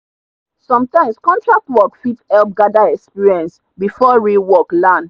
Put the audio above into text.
sometimes contract work fit help gather experience before real work land.